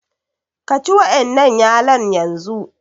Ka ci wa'ƴannan yalon yanzu!